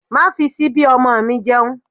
Má fi síbí ọmọ mi jẹun!